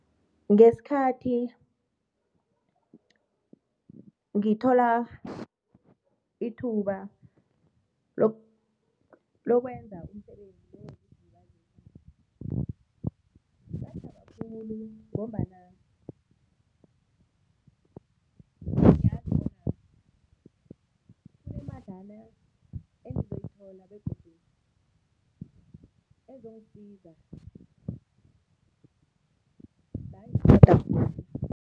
Ngesikhathi ngithola ithuba lokwenza umsebenzi wokuzilibazisa ngathaba khulu ngombana ngiyazi bona kunemadlana engizoyithola begodu ezongisiza